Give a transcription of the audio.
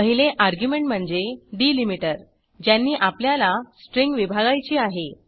पहिले अर्ग्युमेंट म्हणजे डिलीमीटर ज्यांनी आपल्याला स्ट्रिंग विभागायची आहे